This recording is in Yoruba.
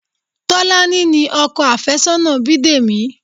Tolani ni ọkọ àfẹ́sọ́nà Bidemi